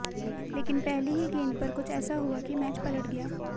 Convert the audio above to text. लेकिन पहली ही गेंद पर कुछ ऐसा हुआ की मैच पलट गया